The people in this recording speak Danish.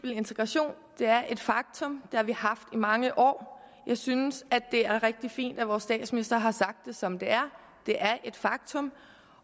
integration det er et faktum det har vi haft i mange år jeg synes at det er rigtig fint at vores statsminister har sagt det som det er det er et faktum